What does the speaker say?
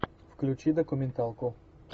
включи документалку